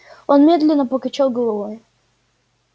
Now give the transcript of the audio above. он медленно покачал головой